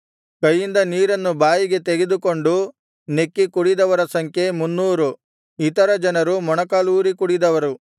ಕೈಯಿಂದ ನೀರನ್ನು ಬಾಯಿಗೆ ತೆಗೆದುಕೊಂಡು ನೆಕ್ಕಿಕುಡಿದವರ ಸಂಖ್ಯೆ ಮುನ್ನೂರು ಇತರ ಜನರು ಮೊಣಕಾಲೂರಿ ಕುಡಿದವರು